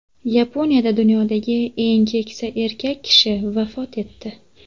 Yaponiyada dunyodagi eng keksa erkak kishi vafot etdi.